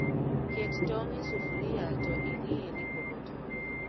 Ket tong' e sufria to ing'i ni pok otore